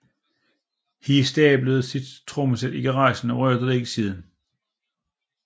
He stablede sit trommesæt i garagen og rørte det ikke siden